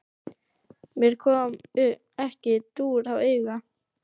Mér kom ekki dúr á auga.